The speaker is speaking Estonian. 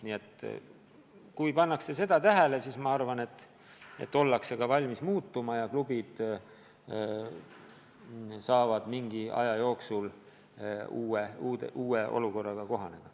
Kui seda pannakse tähele, siis minu arvates ollakse ka valmis muutuma ja klubid saavad mingi aja jooksul uue olukorraga kohaneda.